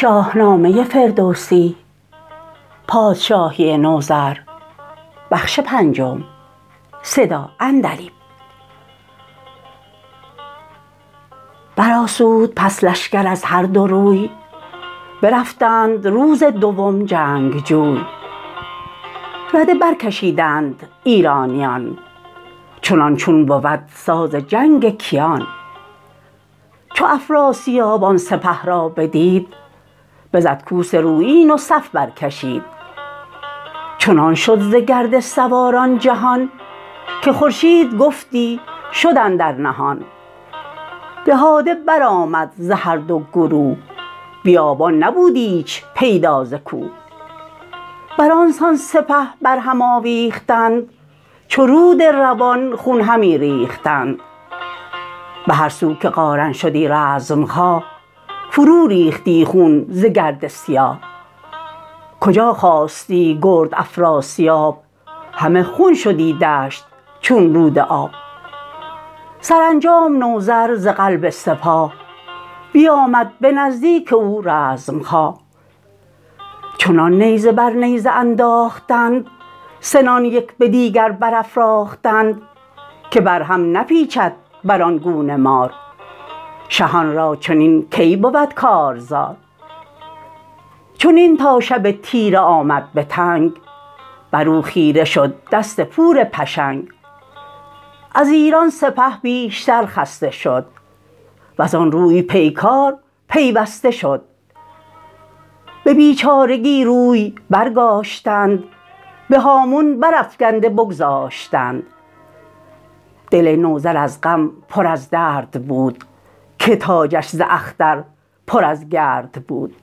برآسود پس لشکر از هر دو روی برفتند روز دوم جنگجوی رده برکشیدند ایرانیان چنان چون بود ساز جنگ کیان چو افراسیاب آن سپه را بدید بزد کوس رویین و صف برکشید چنان شد ز گرد سواران جهان که خورشید گفتی شد اندر نهان دهاده برآمد ز هر دو گروه بیابان نبود ایچ پیدا ز کوه برانسان سپه بر هم آویختند چو رود روان خون همی ریختند به هر سو که قارن شدی رزمخواه فرو ریختی خون ز گرد سیاه کجا خاستی گرد افراسیاب همه خون شدی دشت چون رود آب سرانجام نوذر ز قلب سپاه بیامد به نزدیک او رزمخواه چنان نیزه بر نیزه انداختند سنان یک به دیگر برافراختند که بر هم نپیچد بران گونه مار شهان را چنین کی بود کارزار چنین تا شب تیره آمد به تنگ برو خیره شد دست پور پشنگ از ایران سپه بیشتر خسته شد وزان روی پیکار پیوسته شد به بیچارگی روی برگاشتند به هامون برافگنده بگذاشتند دل نوذر از غم پر از درد بود که تاجش ز اختر پر از گرد بود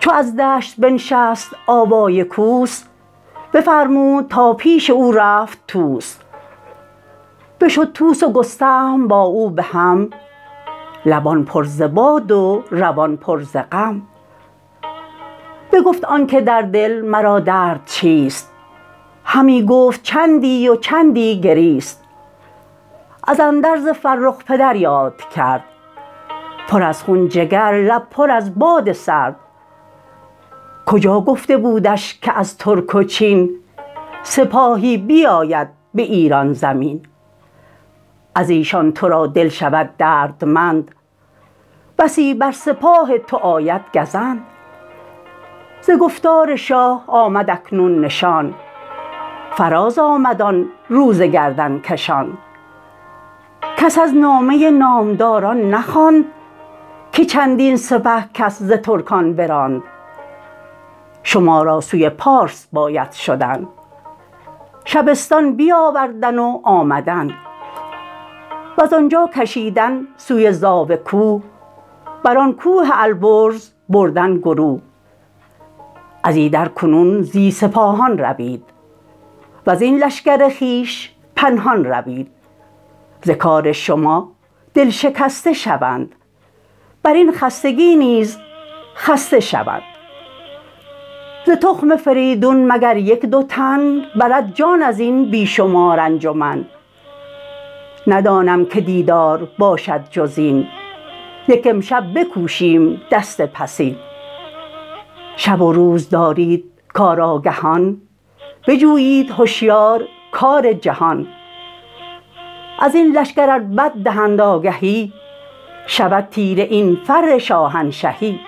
چو از دشت بنشست آوای کوس بفرمود تا پیش او رفت طوس بشد طوس و گستهم با او به هم لبان پر ز باد و روان پر ز غم بگفت آنک در دل مرا درد چیست همی گفت چندی و چندی گریست از اندرز فرخ پدر یاد کرد پر از خون جگر لب پر از باد سرد کجا گفته بودش که از ترک و چین سپاهی بیاید به ایران زمین ازیشان ترا دل شود دردمند بسی بر سپاه تو آید گزند ز گفتار شاه آمد اکنون نشان فراز آمد آن روز گردنکشان کس از نامه نامداران نخواند که چندین سپه کس ز ترکان براند شما را سوی پارس باید شدن شبستان بیاوردن و آمدن وزان جا کشیدن سوی زاوه کوه بران کوه البرز بردن گروه ازیدر کنون زی سپاهان روید وزین لشکر خویش پنهان روید ز کار شما دل شکسته شوند برین خستگی نیز خسته شوند ز تخم فریدون مگر یک دو تن برد جان ازین بی شمار انجمن ندانم که دیدار باشد جزین یک امشب بکوشیم دست پسین شب و روز دارید کارآگهان بجویید هشیار کار جهان ازین لشکر ار بد دهند آگهی شود تیره این فر شاهنشهی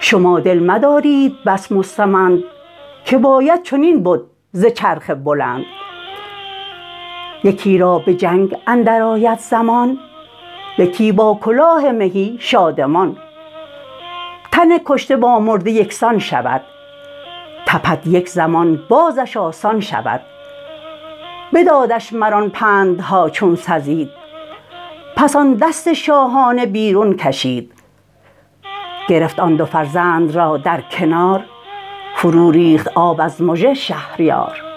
شما دل مدارید بس مستمند که باید چنین بد ز چرخ بلند یکی را به جنگ اندر آید زمان یکی با کلاه مهی شادمان تن کشته با مرده یکسان شود تپد یک زمان بازش آسان شود بدادش مران پندها چون سزید پس آن دست شاهانه بیرون کشید گرفت آن دو فرزند را در کنار فرو ریخت آب از مژه شهریار